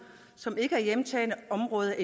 som endnu ikke er hjemtagne områder